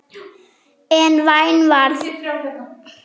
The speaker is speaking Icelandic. En vein var það samt.